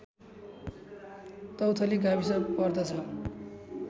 तौथली गाविस पर्दछ